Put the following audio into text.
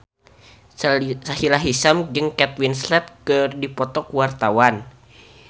Sahila Hisyam jeung Kate Winslet keur dipoto ku wartawan